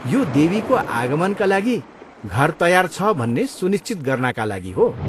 यो देवीको आगमनका लागि घर तयार छ भन्ने सुनिश्चित गर्नाका लागि हो।